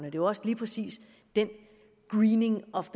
er jo også lige præcis den greening of